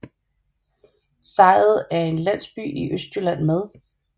Sejet er en landsby i Østjylland med